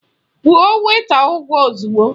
Kwụọ wèịta ụgwọ ozugbo!